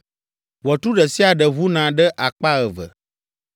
Ʋɔtru ɖe sia ɖe ʋuna ɖe akpa eve.